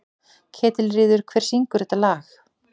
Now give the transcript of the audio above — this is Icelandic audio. Ketilríður, hver syngur þetta lag?